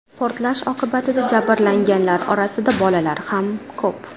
Portlash oqibatida jabrlanganlar orasida bolalar ham ko‘p.